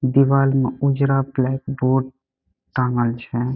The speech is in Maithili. दिवाल में उजरा ब्लैकबोर्ड टाँगल छे।